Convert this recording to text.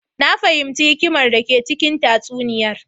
Na fahimci hikimar dake cikin tatsuniyar.